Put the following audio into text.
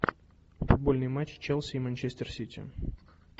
футбольный матч челси и манчестер сити